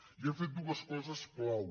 i hem fet dues coses clau